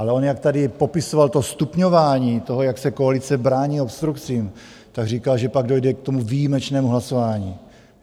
Ale on jak tady popisoval to stupňování toho, jak se koalice brání obstrukcím, tak říkal, že pak dojde k tomu výjimečnému hlasování.